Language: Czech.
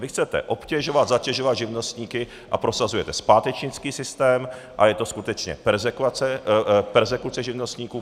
Vy chcete obtěžovat, zatěžovat živnostníky a prosazujete zpátečnický systém, a je to skutečně perzekuce živnostníků.